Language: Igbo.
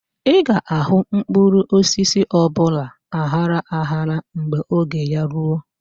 Ị ga-ahụ mkpụrụosisi ọbụla aghara aghara ma oge ya ruo.